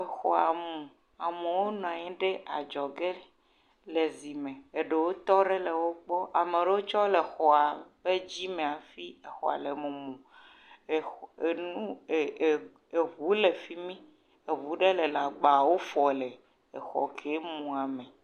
Exɔ. Amewo nɔ anyi ɖe adzɔ ge le zi me. Eɖewo tɔ ɖe enɔewo gbɔ, ame aɖewo tse tɔ ɖe exɔa ɖe afi, exɔ le mumu. Enu eh eh enu, eŋuwo le fimi. Eŋu ɖe gbawo fŋm le exɔ ma mu.